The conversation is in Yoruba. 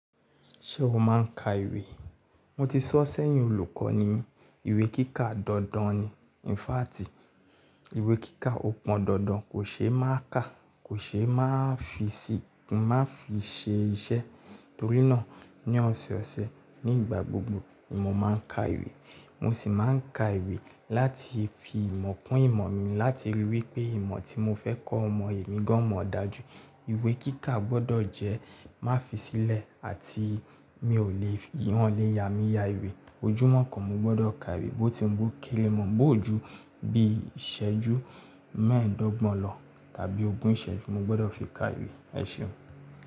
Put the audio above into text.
Ṣé o máa ń ka ìwé? Mo ti sọ̀ sẹ́yìn olùkọ́ ni mí, ìwé kíkà dandan ni. Ìfáàtì ìwé kíkà ó pọn dandan, kò ṣe é má ká, kò ṣe é má fi ṣe iṣẹ́ torí náà ní ọ̀sọ̀ọ̀sẹ̀ nígbà gbogbo ni mo máa ń ka ìwé. Mo sì máa ń ka ìwé láti fi ìmọ̀ kún ìmọ̀ mi láti rí i wí pé ìmọ̀ tí mo fẹ́ kọ́ ọmọ èmi gan mọ̀ dájú. Ìwé kíkà gbọdọ̀ jẹ́ má fisílẹ̀ àti mi ò lè wọ́n lè ya mi ya ìwé. Ojúmọ́ kan mo gbọdọ̀ ka ìwé bó ti ń bú kélé mọ, bó ju bí ìṣẹ́jú mẹ́ẹ̀ẹ́dọ́gbọ̀n lọ tàbí ogún ìṣẹ́jú mo gbọdọ̀ fi ka ìwé. Ẹ ṣeun.